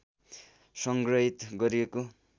संग्रहित गरिएको